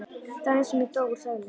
Daginn sem ég dó úr sælu.